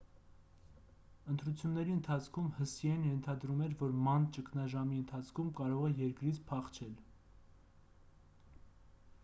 ընտրությունների ընթացքում հսիեն ընթադրում էր որ ման ճգնաժամի ընթացքում կարող է երկրից փախչել